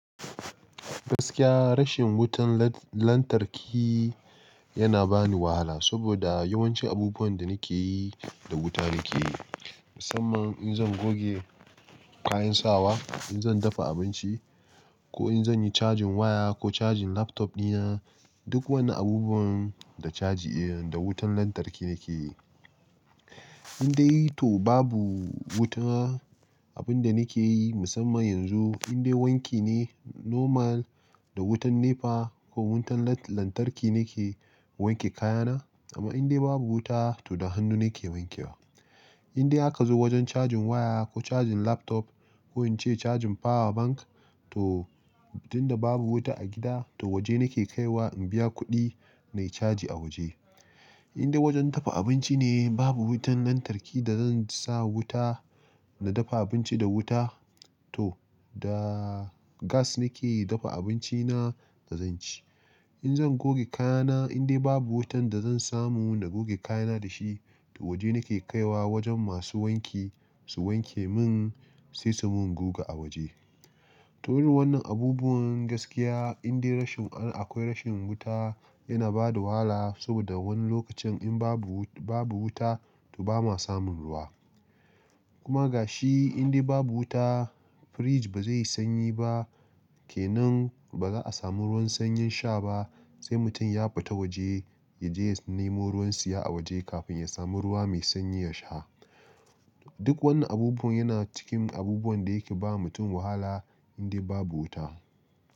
Gaskiya rashin wutan lantarki yana bani wahala saboda yawancin abubuwan da nake yi da wuta nake yi. Musamman in zan goge kayan sawa, in zan dafa abinci ko in zan yi cajin waya ko cajin laptop dina, duk wani abubuwan da caji da wutan lantarki nake yi. In dai to babu wuta, abinda nake yi musamman yanzu, in dai wanki ne normal da wutan NEPA ko wutan lantarki nake wanke kayana amma in dai babu wuta, to da hannu nake wankewa. In dai aka zo wajen cajin waya ko cajin laptop ko in ce cajin power bank to dinda babu wuta a gida to waje nake kaiwa in biya kuɗi nayi caji a waje. In dai wajen dafa abinci ne babu wutan lantarki da zan sa wuta na dafa abinci da wuta to da gas nake dafa abinci na da zan ci. In zan goge kayana in dai babu wutan da zan samu na goge kayana da shi, to waje nake kaiwa wajen masu wanki su wanke min sai su min goga a waje. Ta irin wannan abubuwan gaskiya in dai rashin an-akwai rashin wuta yana bada wahala saboda wani lokacin in babu-babu wuta to ba ma samun ruwa. Kuma ga shi in dai babu wuta fridge ba zai yi sanyi ba kenan ba za a samu ruwan sanyin sha ba sai mutum ya fita waje ya je ya nemo ruwan siya a waje kafin ya samu ruwa mai sanyi ya sha. Duk wannan abubuwan yana cikin abubuwan da yake ba mutum wahala in dai babu wuta.